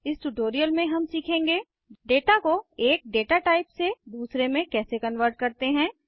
इस ट्यूटोरियल में हम सीखेंगे डेटा को एक डेटा टाइप से दूसरे में कैसे कन्वर्ट करते हैं